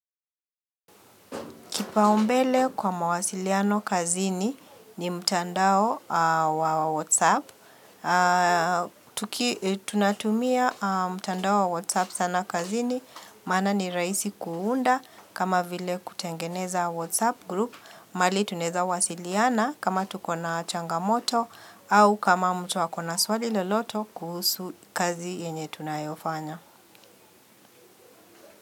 Kipaumbele kwa mawasiliano kazini ni mtandao wa Whatsapp. Tunatumia mtandao wa Whatsapp sana kazini, maana ni raisi kuunda kama vile kutengeneza Whatsapp group. Mali tunaeza wasiliana kama tukona changamoto au kama mtu akona swali loloto kuhusu kazi yenye tunayofanya.